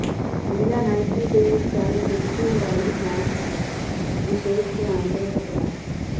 ਮਹਿਲਾ ਨਾਈਕੀ ਦੇ ਚੱਲ ਜੁੱਤੀ ਹਵਾਈ ਮੈਕਸ ਵਿਸ਼ੇਸ਼ ਧਿਆਨ ਦੇ ਹੱਕਦਾਰ